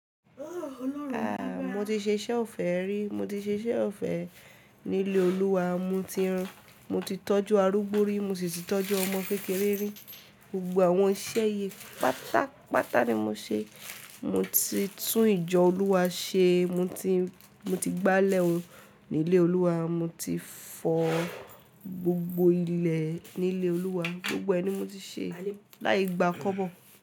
A, mo ti ṣe ṣẹ́ ọ̀fẹ́ rí, mo ti ṣe iṣẹ́ ọ̀fẹ́ ní ilé Olúwa, mo ti rán, mo ti tọ́jú arúgbó rí, mo sì ti tọ́jú ọmọ kékeré rí. Gbogbo àwọn iṣẹ́ yìí pátápátá ni mo ṣe. Mo ti tún ìjọ Olúwa ṣe, mo ti, mo ti gbálẹ̀ o ní ilé Olúwa, mo ti fọ gbogbo ilẹ̀ ní ilé Olúwa, gbogbo ẹ ni mo ti ṣe láì gbàá kọ́bọ̀.